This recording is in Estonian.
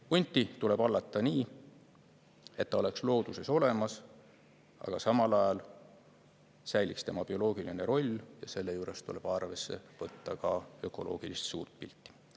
Hunti tuleb hallata nii, et ta oleks looduses olemas, aga samal ajal säiliks tema bioloogiline roll, ja selle juures tuleb arvesse võtta ka ökoloogilist suurt pilti.